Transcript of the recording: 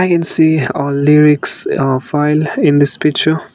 we can see uh lyrics uh file in this picture.